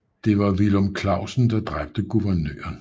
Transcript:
Det var Villum Clausen der dræbte Guvernøren